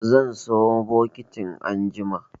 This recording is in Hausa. Zan sayo bokitin anjima.